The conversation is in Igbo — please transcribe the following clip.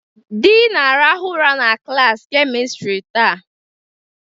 The na-arahụ ụra na klaasị kemistri taa.